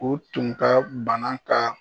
U tun ka bana ka